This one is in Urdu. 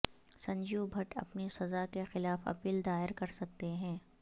سنجیو بھٹ اپنی سزا کے خلاف اپیل دائر کر سکتے ہیں